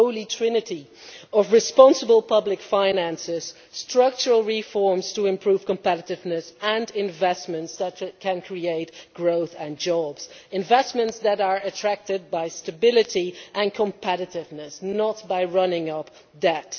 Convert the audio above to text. the Holy Trinity of responsible public finances, structural reforms to improve competitiveness, and investments that can create growth and jobs investments that are attracted by stability and competitiveness, not by running up debt.